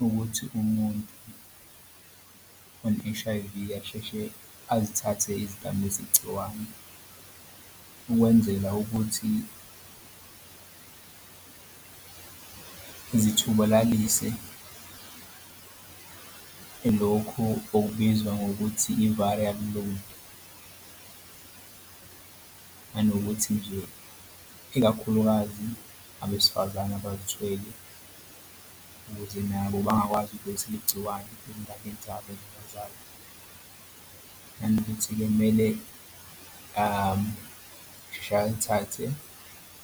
Ukuthi umuntu one-H_I_V asheshe azithathe izidambisi gciwane ukwenzela ukuthi zithubalalise lokhu okubizwa ngokuthi i-viral load nanokuthi nje, ikakhulukazi abesifazane abazithwele ukuze nabo bangakwazi ukudlulisela igciwane eyinganeni zabo nanokuthi-ke kumele sheshe alithathe